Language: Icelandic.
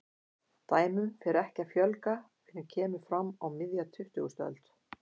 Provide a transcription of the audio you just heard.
Dæmum fer ekki að fjölga fyrr en kemur fram á miðja tuttugustu öld.